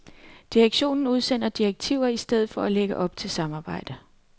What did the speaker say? Direktionen udsender direktiver i stedet for at lægge op til samarbejde.